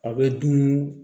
A bɛ dun